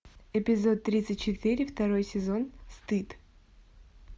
эпизод тридцать четыре второй сезон стыд